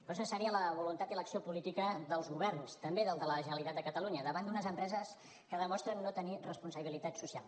però és necessària la voluntat i l’acció política dels governs també del de la generalitat de catalunya davant d’unes empreses que demostren no tenir responsabilitat social